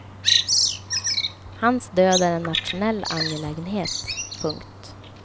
Hans död är en nationell angelägenhet. punkt